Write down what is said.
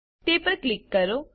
તે પર ક્લિક કરો